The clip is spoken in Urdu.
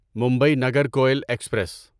ممبئی نگرکوئل ایکسپریس